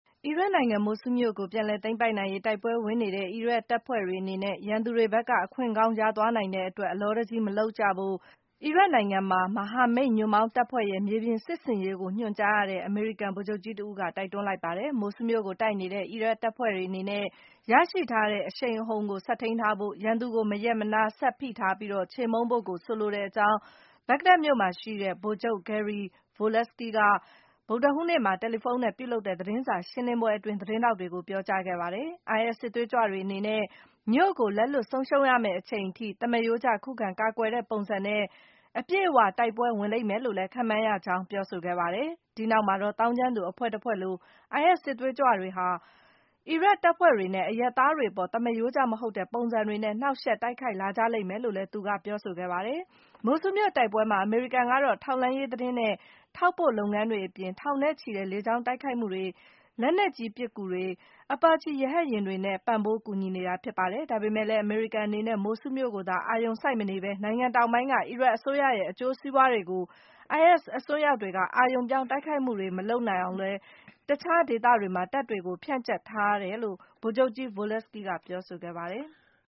အီရတ်နိုင်ငံ မိုဆူးမြို့ကို ပြန်လည်သိမ်းပိုက်နိုင်ရေး တိုက်ပွဲဝင်နေတဲ့ အီရတ်တပ်ဖွဲ့တွေအနေနဲ့ ရန်သူတွေဘက်က အခွင့်ကောင်းရသွားနိုင်တဲ့ အတွက် အလောတကြီး သိပ်မလုပ်ကြဖို့ - အီရတ်နိုင်ငံမှာ မဟာမိတ်ညွန့်ပေါင်းတပ်ဖွဲ့ရဲ့ မြေပြင်စစ်ဆင်ရေးကို ညွှန်ကြားရတဲ့ အမေရိကန် ဗိုလ်ချုပ်ကြီးတဦးက တိုက်တွန်းလိုက်ပါတယ်။ မိုဆူးမြို့ကိုတိုက်နေတဲ့ အီရတ်တပ်ဖွဲ့တွေအနေနဲ့ ရရှိထားတဲ့ အရှိန်အဟုန်ကို ဆက်ထိန်းထားဖို့၊ ရန်သူကို မရပ်မနား ဆက်ဖိထားပြီး၊ ချေမှုန်းဖို့ကို ဆိုလိုတဲ့အကြောင်း ဘဂ္ဂဒက်မြို့မှာရှိနေတဲ့ ဗိုလ်ချုပ် Gary Volesky က ဗုဒ္ဓဟူးနေ့မှာ တယ်လီဖုန်းနဲ့ ပြုလုပ်တဲ့ သတင်းစာရှင်းလင်းပွဲအတွင်း သတင်းထောက်တွေကို ပြောကြားခဲ့တာပါ။ IS စစ်သွေးကြွတွေအနေနဲ့ မြို့ကို လက်လွှတ်ဆုံးရှုံးရမယ့်အချိန်အထိ - သမားရိုးကျ ခုခံကာကွယ်တဲ့ပုံစံနဲ့ အပြည့်အ၀ တိုက်ပွဲဝင်လိမ့်မယ်လို့ ခန့်မှန်းရကြောင်းလည်း ပြောဆိုခဲ့ပါတယ်။ ဒီနောက်မှာတော့ - သောင်းကျန်းသူအဖွဲ့တဖွဲ့လို IS စစ်သွေးကြွတွေဟာ အီရတ်တပ်ဖွဲ့တွေနဲ့ အရပ်သား တွေအပေါ် သမားရိုးကျမဟုတ်တဲ့ ပုံစံတွေနဲ့ နှောင့်ယှက်တိုက်ခိုက်လာကြလိမ့်မယ်လို့လည်း သူက ပြောဆိုခဲ့တာပါ။ မိုဆူးမြို့တိုက်ပွဲမှာ အမေရိကန်ကတော့ ထောက်လှမ်းရေးသတင်းနဲ့ ထောက်ပို့လုပ်ငန်းတွေအပြင် ထောင်နဲ့ချီတဲ့ လေကြောင်းတိုက်ခိုက်မှုတွေ၊ လက်နက်ကြီးပစ်ကူတွေ၊ အပါချီရဟတ်ယာဉ်တွေနဲ့ ပံ့ပိုးကူညီနေတာ ဖြစ်ပါတယ်။ ဒါပေမဲ့လည်း အမေရိကန်အနေနဲ့ မိုဆူးမြို့ကိုသာ အာရုံစိုက်မနေဘဲ နိုင်ငံတောင်ပိုင်းက အီရတ်အစိုးရရဲ့ အကျိုးစီးပွားတွေကို IS အစွန်းရောက်တွေက အာရုံပြောင်း တိုက်ခိုက်မှုတွေ မလုပ်နိုင်အောင် လည်း တခြားဒေသတွေမှာ တပ်တွေကို ဖြန့်ကျက်ထားတယ်လို့လည်း ဗိုလ်ချုပ် Volesky က ပြောဆိုခဲ့ပါတယ်။